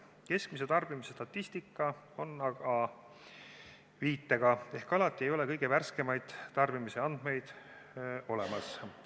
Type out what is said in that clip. Keskmise tarbimise statistika on aga viitega ehk alati ei ole kõige värskemaid tarbimisandmeid olemas.